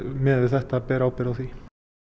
miðað við þetta ber ábyrgð á því